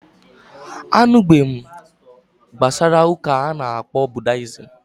Anụbeghị m gbasara ụka a ana-akpọ budayism